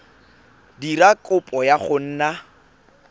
dira kopo ya go nna